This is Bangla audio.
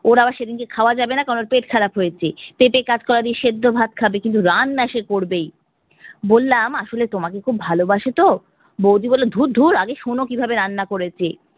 ওর আবার সেদিনকে খাওয়া যাবেনা কারণ ওর পেট খারাপ হয়েছে। পেঁপে কাঁচকলা দিয়ে দিয়ে সেদ্ধ ভাত খাবে কিন্তু রান্না সে করবেই। বললাম বলে তোমাকে খুব ভালোবাসে তো, বৌদি বললো ধুর ধুর আগে শোনো কিভাবে রান্না করেছে